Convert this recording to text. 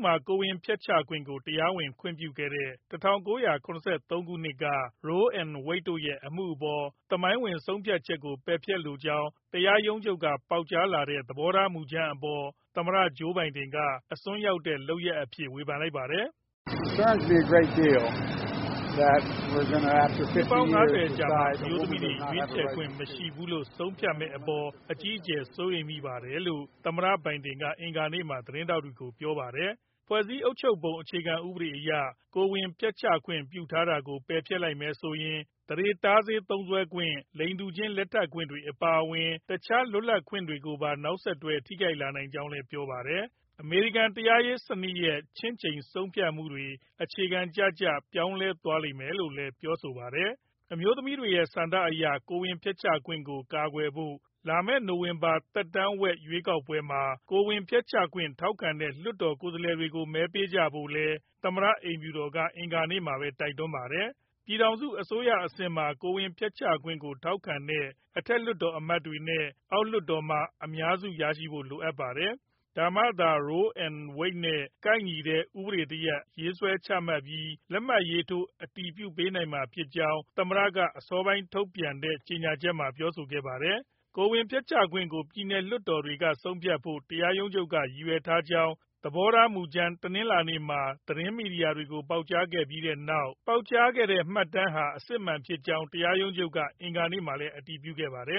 မှာ ကိုယ်ဝန်ဖျက်ချခွင့်ကို တရားဝင်ခွင့်ပြုခဲ့တဲ့ ၁၉၇၃ ခုနှစ်က Roe နဲ့ Wade တို့ရဲ့ အမှုအပေါ် သမိုင်းဝင် ဆုံးဖြတ်ချက်ကို ပယ်ဖျက်လိုကြောင်း တရားရုံးချုပ်က ပေါက်ကြားခဲ့တဲ့ သဘောထား မူကြမ်းအပေါ် သမ္မတ Joe Biden က အစွန်းရောက်တဲ့ လုပ်ရပ်အဖြစ် ဝေဖန်လိုက်ပါတယ်။ “နှစ်ပေါင်း ၅၀ အကြာမှာ၊ အမျိုးသမီးတွေ ရွေးချယ်ခွင့်မရှိဘူးလို့ ဆုံးဖြတ်မယ့်အပေါ် အကြီးအကျယ် စိုးရိမ်မိပါတယ်။” လို့ သမ္မတဘိုင်ဒင်က အင်္ဂါနေ့မှာ သတင်းထောက်တွေကို ပြောလိုက်တာပါ။ ဖွဲ့စည်းအုပ်ချုပ်ပုံ အခြေခံဥပဒေအရ ကိုယ်ဝန်ဖျက်ချခွင့် ပြုထားတာကို ပယ်ဖျက်လိုက်မယ်ဆိုရင် သန္ဓေတားဆေး သုံးစွဲခွင့်၊ လိင်တူချင်းလက်ထပ်ခွင့်တွေ အပါအဝင် တခြားလွတ်လပ်ခွင့်တွေကိုပါ နောက်ဆက်တွဲ ထိခိုက်လာနိုင်ကြောင်းလည်း ပြောပါတယ်။ အမေရိကန် တရားရေးစနစ်ရဲ့ ခြင့်ချိန်ဆုံးဖြတ်မှုတွေ အခြေခံကျကျ ပြောင်းလဲသွားလိမ့်မယ် လို့လည်း ပြောဆိုခဲ့တာပါ။ အမျိုးသမီးတွေဆန္ဒအရ ကိုယ်ဝန်ဖျက်ချခွင့်ကို ကာကွယ်ဖို့ လာမယ့် နိုဝင်ဘာလ သက်တမ်းဝက် ရွေးကောက်ပွဲမှာ ကိုယ်ဝန်ဖျက်ချခွင့် ထောက်ခံတဲ့ လွှတ်တော်ကိုယ်စားလှယ်တွေကို မဲပေးကြဖို့လည်း သမ္မတအိမ်ဖြူတော်က အင်္ဂါနေ့မှာပဲ တိုက်တွန်းခဲ့ပါတယ်။ ပြည်ထောင်စု အစိုးရအဆင့်မှာ ကိုယ်ဝန်ဖျက်ချခွင့်ကို ထောက်ခံတဲ့ အထက်လွှတ်တော်အမတ်တွေနဲ့ အောက်လွှတ်တော်မှာ အများစုရှိဖို့ လိုပါတယ်၊ ဒါမှသာ Roe v. Wade နဲ့ ကိုက်ညီတဲ့ ဥပဒေတရပ် ရေးဆွဲချမှတ်ပြီး၊ လက်မှတ်ရေးထိုး အတည်ပြုပေးနိုင်မှာ ဖြစ်ကြောင်း သမ္မတက အစောပိုင်း ထုတ်ပြန်တဲ့ ကြေညာချက်မှာ ပြောဆိုခဲ့ပါတယ်။ ကိုယ်ဝန်ဖျက်ချခွင့်ကို ပြည်နယ်လွှတ်တော်တွေက ဆုံးဖြတ်ဖို့ တရားရုံးချုပ်က ရည်ရွယ်ထားကြောင်း သဘောထားမူကြမ်း တနင်္လာနေ့မှာ သတင်းမီဒီယာကို ပေါက်ကြားခဲ့ပြီးနောက် ပေါက်ကြားခဲ့တဲ့ မှတ်တမ်းဟာ အစစ်အမှန်ဖြစ်ကြောင်း တရားရုံးချုပ်က အင်္ဂါနေ့မှာပဲ အတည်ပြုခဲ့ပါတယ